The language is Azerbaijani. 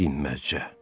Dinməzcə.